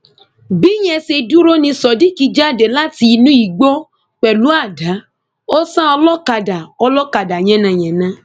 bíyẹn ṣe dúró ní sodiq jáde láti inú igbó pẹlú àdá ó sà olókàdá olókàdá yànnàyànnà